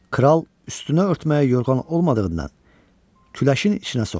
Kral üstünə örtməyə yorğan olmadığından küləşin içinə soxuldu